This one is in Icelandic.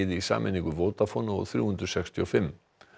í sameiningu Vodafone og þrjú hundruð sextíu og fimm